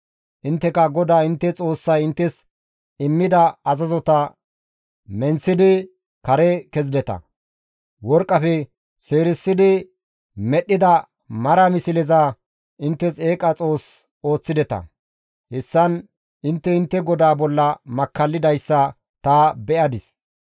Intteka GODAA intte Xoossay inttes immida azazota menththidi kare kezideta; worqqafe seerisidi medhdhida mara misleza inttes eeqa xoos ooththideta; hessan intte intte GODAA bolla makkallidayssa ta be7adis.